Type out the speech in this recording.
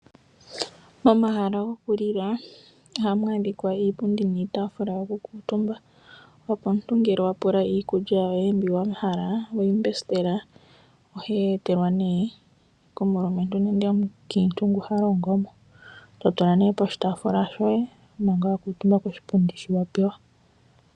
Momahala gokulila ohamu adhika iipundi niitafula yokukuutumba, opo omuntu ngele wa pula iikulya yoye mbi wa hala we yi mbesitela, ohoyi etelwa komulumentu nenge komukiintu ngoka ha longo mo e toyi tula poshitaafula shoye manga wa kuutumba koshipundi shoka wa pewa.